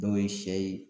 Dɔw ye sɛ ye